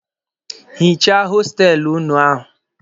Hichaa hostelụ ụnụ ahụ!